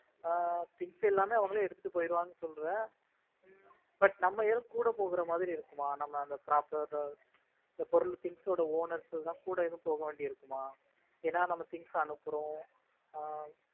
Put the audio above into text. ஆஹ் things எல்லாமே அவங்களே எடுத்துட்டு போயிடுவாங்கன்னு சொல்ற. உம் But நம்மை எதுவும் கூட போற மாதிரி இருக்குமா? நம்ம அந்த process பொருள் things ஓட owners எல்லாம் கூட போக வேண்டியது இருக்குமா? ஏன்னா நம்ம things அனுப்புறோம். ஆஹ்